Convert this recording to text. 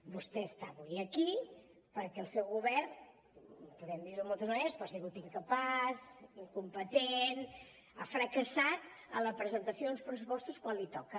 vostè està avui aquí perquè el seu govern podem dir ho de moltes maneres però ha sigut incapaç incompetent ha fracassat en la presentació dels pressupostos quan li toca